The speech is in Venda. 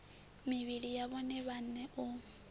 mivhili ya vhone vhaṋe u